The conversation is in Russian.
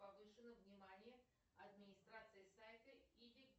повышено внимание администрации сайта и